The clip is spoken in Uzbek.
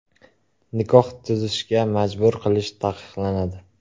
Nikoh tuzishga majbur qilish taqiqlanadi.